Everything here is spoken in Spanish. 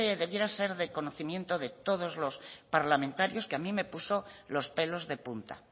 debiera ser del conocimiento de todos los parlamentarios que a mí me puso los pelos de punta